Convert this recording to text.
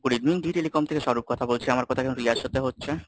Good evening, D Telecom থেকে স্বরূপ কথা বলছি, আমার কথা এখন রিয়ার সাথে হচ্ছে?